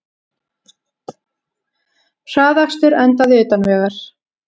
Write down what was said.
Hraðakstur endaði utan vegar